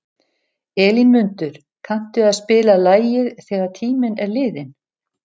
Elínmundur, kanntu að spila lagið „Þegar tíminn er liðinn“?